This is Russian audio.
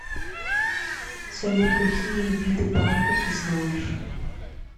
салют какие виды панда ты знаешь